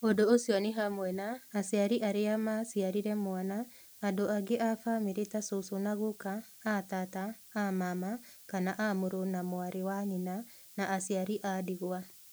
Ũndũ ũcio nĩ hamwe na: aciari arĩa ma ciarire mwana, andũ angĩ a famĩlĩ ta cũcũ na guka, a taata, a maama, kana a mũrũ na mwarĩ wa nyina; na aciari a ndigwa.